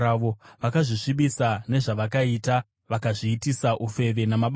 Vakazvisvibisa nezvavakaita; vakazviitisa ufeve namabasa avo.